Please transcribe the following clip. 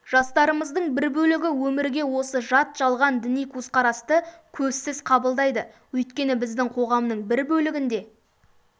жастарымыздың бір бөлігі өмірге осы жат жалған діни көзқарасты көзсіз қабылдайды өйткені біздің қоғамның бір бөлігінде